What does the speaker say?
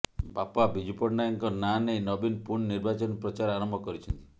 ବାପା ବିଜୁ ପଟ୍ଟନାୟକଙ୍କ ନାଁ ନେଇ ନବୀନ ପୁଣି ନିର୍ବାଚନୀ ପ୍ରଚାର ଆରମ୍ଭ କରିଛନ୍ତି